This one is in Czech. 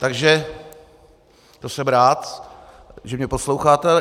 Takže to jsem rád, že mě posloucháte.